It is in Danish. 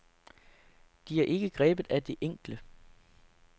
De er ikke grebet af det enkle.